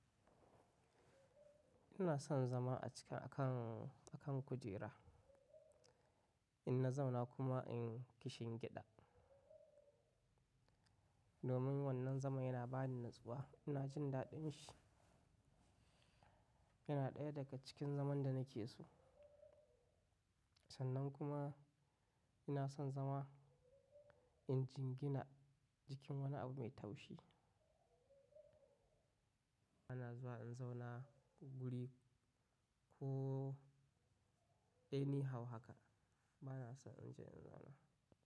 Ina son zama a cika a kan, a kan kujera, ina zauna kuma in kishingiɗa. Domin wannan zaman yana bani natsuwa, ina jin daɗin shi. Yana ɗaya daga cikin zaman da nake so. Sannan kuma ina son zama in jingina jikin wani abu mai taushi. Bana zuwa in zauna guri ko any how haka bana so in je in zauna.